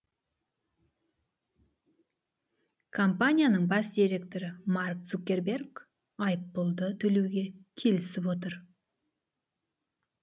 компанияның бас директоры марк цукерберг айыппұлды төлеуге келісіп отыр